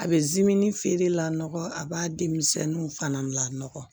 A bɛ feere la nɔgɔ a b'a denmisɛnninw fana lakɔ